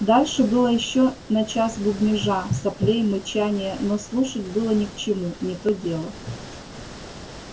дальше было ещё на час бубнежа соплей мычания но слушать было ни к чему не то дело